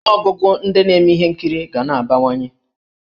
Ọnụọgụgụ ndị na-eme ihe nkiri ga na-abawanye.